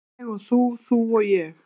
Ég og þú, þú og ég.